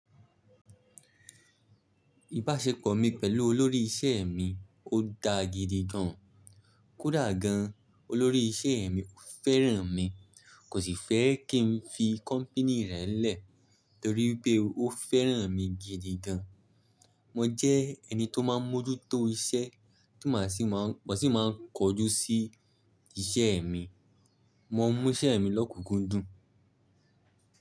Ìbáṣepọ̀ mi pẹ̀lú olórí ìṣe mi ó daa gidi gan. Kódà gan, olórí ìṣe mi ò fẹ́ràn mi, kò sì fẹ́ kí n fi kọ́mpìní rẹ̀ lẹ̀ torí pé ó fẹ́ràn mi gidi gan. Mo jẹ́ ẹni tó máa ń mójútó iṣẹ́, ti mo sì máa ń kojú sí iṣẹ́ mi. Mo ń mú iṣẹ́ mi lọ́kùnkúndùn.